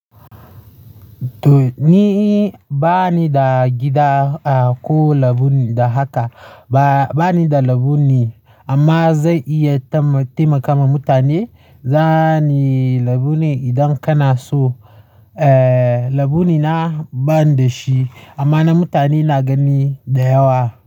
To ni bani da gida ko labule da haka. Ba, bani da labule amma zan iya taimaka wa mutane. Zani labule idan kana so, eh, labule na ban da shi amma na mutane na gani da yawa.